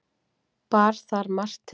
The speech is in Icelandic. Bar þar margt til.